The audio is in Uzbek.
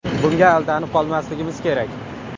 Bunga aldanib qolmasligimiz kerak.